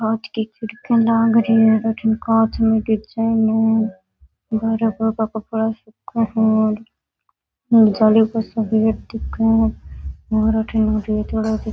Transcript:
कांच की खिड़किया लाग रही है अठन कांच में डिज़ाइन जाली को सो गेट दिखे है --